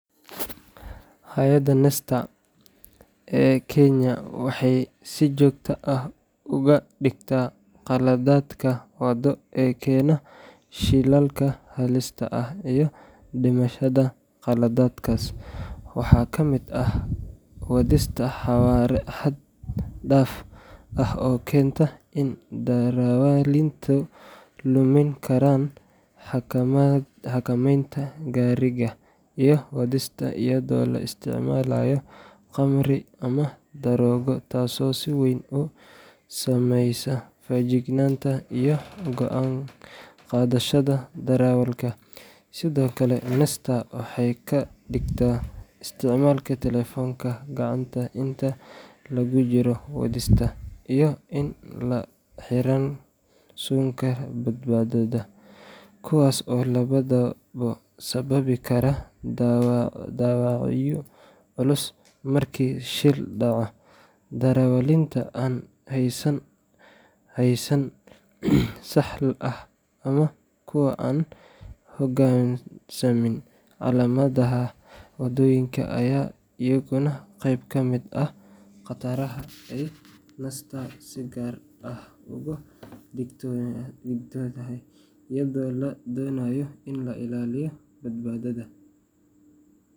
Hay’adda NTSA ee Kenya waxay si joogto ah uga digtaa qaladaadka waddo ee keena shilalka halista ah iyo dhimashada. Qaladaadkaas waxaa ka mid ah wadista xawaare xad-dhaaf ah oo keenta in darawaliintu lumin karaan xakamaynta gaariga, iyo wadista iyadoo la isticmaalayo khamri ama daroogo taasoo si weyn u saameysa feejignaanta iyo go’aan qaadashada darawalka. Sidoo kale, NTSA waxay ka digtaa isticmaalka taleefanka gacanta inta lagu jiro wadista, iyo in aan la xiran suunka badbaadada, kuwaas oo labaduba sababi kara dhaawacyo culus marka shil dhaco. Darawaliinta aan haysan laysan sax ah ama kuwa aan u hoggaansamin calaamadaha waddooyinka ayaa iyaguna qayb ka ah khataraha ay NTSA si gaar ah uga digtoontahay, iyadoo la doonayo in la ilaaliyo badbaadada.